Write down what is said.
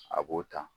A b'o ta